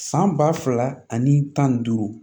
San ba fila ani tan ni duuru